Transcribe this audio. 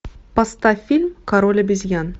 поставь фильм король обезьян